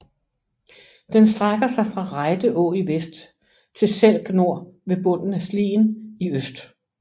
Den strækker sig fra Rejde Å i vest til Selk Nor ved bunden af Slien i øst